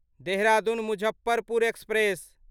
Dehradun Muzaffarpur express